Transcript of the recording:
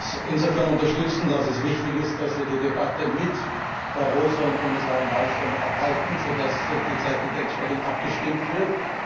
Ich möchte das insofern unterstützen, dass es wichtig ist, dass wir die Debatte mit Barroso und Kommissarin Malmström abhalten, sodass die Zeit entsprechend abgestimmt wird.